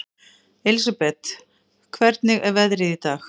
Elsabet, hvernig er veðrið í dag?